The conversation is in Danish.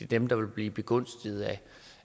dem der vil blive begunstiget